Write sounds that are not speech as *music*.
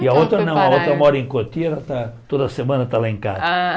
*unintelligible* E a outra mora em Cotia, ela toda semana está lá em casa. Ah